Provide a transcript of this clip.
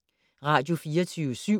Radio24syv